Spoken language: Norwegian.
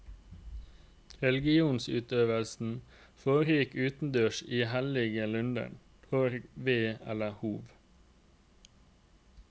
Religionsutøvelsen foregikk utendørs i hellige lunder, horg, ve eller hov.